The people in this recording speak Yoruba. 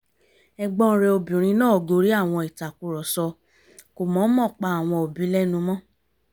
ẹ̀gbọ́n rẹ̀ obìnrin náà gorí àwọn ìtàkùrọ̀sọ kò mọ̀ọ́mọ̀ pa àwọn òbí lẹ́nu mọ́